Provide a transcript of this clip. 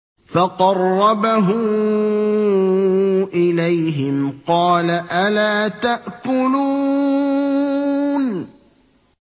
فَقَرَّبَهُ إِلَيْهِمْ قَالَ أَلَا تَأْكُلُونَ